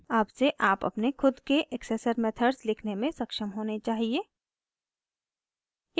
अब से आप अपने खुद के accessor methods लिखने में सक्षम होने चाहिए